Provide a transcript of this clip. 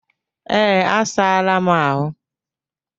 Ee, asaala m ahụ